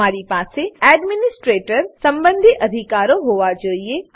તમારી પાસે એડ્મીનીસ્ટ્રેટર સંબંધી અધિકારો હોવા જોઈએ